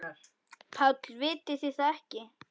PÁLL: Vitið þið það ekki?